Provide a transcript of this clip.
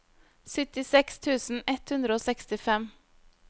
syttiseks tusen ett hundre og sekstifem